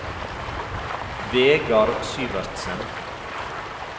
Vegard Syvertsen